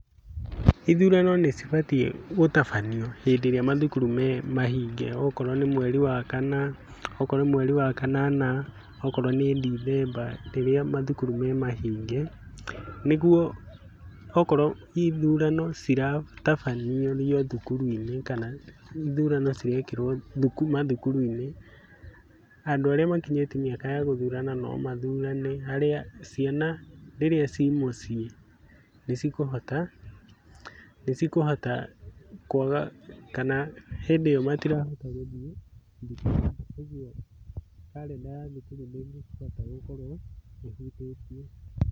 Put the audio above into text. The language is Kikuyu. Ithurano nĩ cibatiĩ gũtabanio hĩndĩ ĩrĩa mathukuru me mahinge okorwo nĩ mweri wa kana, okorwo nĩ mweri wa kanana, okorwo nĩ mweri wa Dithemba, rĩrĩa mathukuru me mahinge. Nĩguo okorwo ithurano ciratabanĩrio thukuru-inĩ kana ithurano cirekĩrũo mathukuru-inĩ, andũ arĩa makinyĩtie mĩaka ya gũthurana no mathurane. Ciana rĩrĩa ciĩ mũciĩ nĩ cikũhota kwaga kana hĩndĩ ĩyo matirahota gũthiĩ thukuru-inĩ kwoguo calender ya thukuru ndingihota gũkorwo ĩhutĩtio.